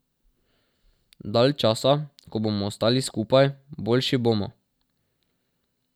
Dalj časa, ko bomo ostali skupaj, boljši bomo.